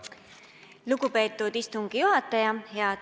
Lugupeetud istungi juhataja!